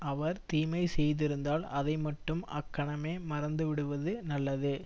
அவர் தீமை செய்திருந்தால் அதை மட்டும் அக்கணமே மறந்து விடுவது நல்லது